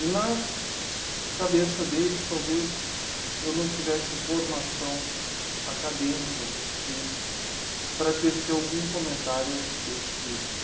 E na cabeça deles talvez eu não tivesse formação acadêmica o suficiente para tecer algum comentário a respeito disso.